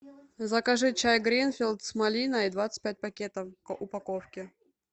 закажи чай гринфилд с малиной двадцать пять пакетов в упаковке